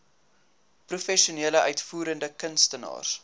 professionele uitvoerende kunstenaars